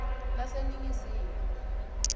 leseningizimu